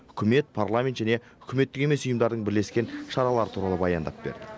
үкімет парламент және үкіметтік емес ұйымдардың бірлескен шаралары туралы баяндап берді